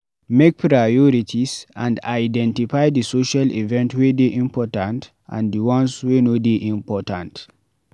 Make priorities and identify di social event wey dey important and di ones wey no dey important